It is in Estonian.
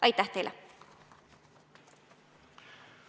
Aitäh teile!